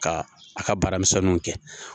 Ka a ka baara misinninw kɛ.